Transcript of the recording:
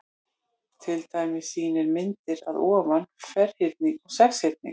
Til dæmis sýnir myndin að ofan ferhyrning og sexhyrning.